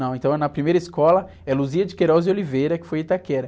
Não, então na primeira escola é Luzia de Queiroz de Oliveira, que foi em Itaquera.